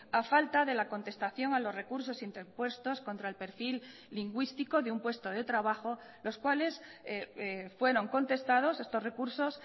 a falta de la contestación a los recursos interpuestos contra el perfil lingüístico de un puesto de trabajo los cuales fueron contestados estos recursos